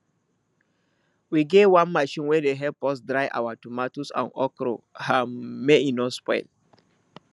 we get one machine wey dey help us dry our tomatoes and okro um make e no spoil